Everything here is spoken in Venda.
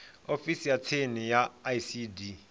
ofisini ya tsini ya icd